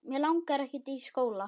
Mig langar ekkert í skóla.